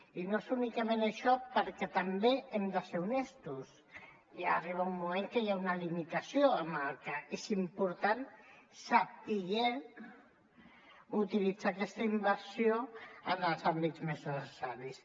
i no és únicament això perquè també hem de ser honestos ja arriba un moment en que hi ha una limitació amb la qual cosa és important saber utilitzar aquesta inversió en els àmbits més necessaris